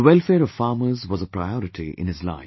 The welfare of farmers was a priority in his life